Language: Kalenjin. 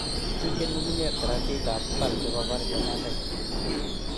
Kituchen ng'ungunyek saratikab mbar sikobar chemasai.